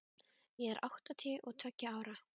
Ég er áttatíu og tveggja ára.